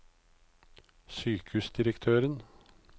sykehusdirektøren